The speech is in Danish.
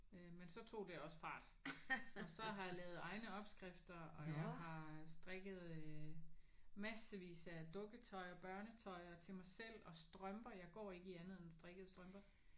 Men så tog det også fart. Så har jeg lavet egne opskrifter og jeg har strikket massevis af dukketøj og børnetøj og til mig selv og strømper. Jeg går ikke i andet end strikkede strømper